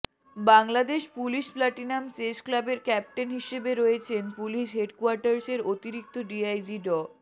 Bangladesh police platinum chess ক্লাবের captain হিসেবে রয়েছেন পুলিশ হেডকোয়ার্টার্সের অতিরিক্ত ডিআইজি ড